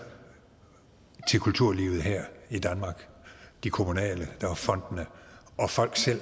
til kulturlivet her i danmark de kommunale der er fondene og folk selv